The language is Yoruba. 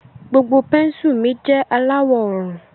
Gbogbo pénsù mi jẹ alawọ òrùn.